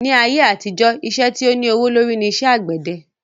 Ni ayé àtijọ́, iṣẹ́ tí o ní owó lórí ní iṣẹ́ àgbẹ́dẹ